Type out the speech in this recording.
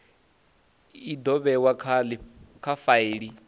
i do vhewa kha faili